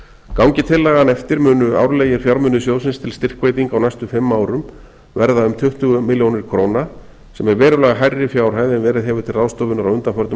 gangi tillagan eftir munu árlegir fjármunir sjóðsins til styrkveitinga á næstu fimm árum verða um tuttugu milljónir króna sem er verulega hærri fjárhæð en verið hefur til ráðstöfunar á undanförnum